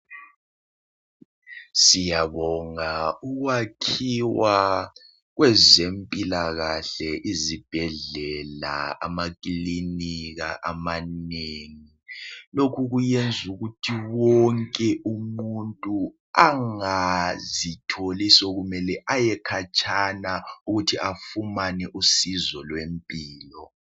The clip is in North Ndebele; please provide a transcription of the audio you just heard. Siyabonga ukwakhiwa kwezempilakahle izibhedlela, amakilinika amanengi. Lokhu kuyenzukukuthi wonke umuntu angazitholi sokumele ayekhatshana ukuthi afumane usizo lwempilo.